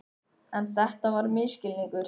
En þetta var misskilningur.